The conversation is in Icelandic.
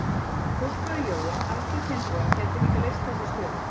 Fóstbróðir Jóa, Alfreð Finnboga, gæti líka leyst þessa stöðu.